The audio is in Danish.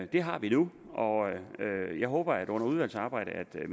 det har vi nu jeg håber at ministeren under udvalgsarbejdet